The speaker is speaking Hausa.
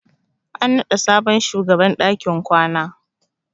An naɗa sabon shugaban dakin kwana.